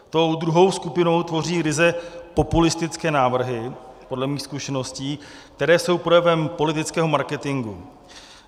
Tu druhou skupinu tvoří ryze populistické návrhy podle mých zkušeností, které jsou projevem politického marketingu.